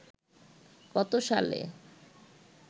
কত সালে